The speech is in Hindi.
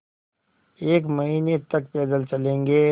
एक महीने तक पैदल चलेंगे